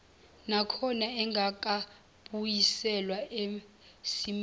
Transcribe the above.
nakhona engakabuyiselwa esimeni